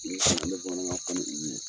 I bɛ n'a sɔrɔ n bɛ bamanankan olu ye.